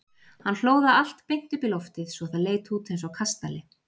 Hann hlóð það allt beint upp í loftið svo það leit út eins og kastali.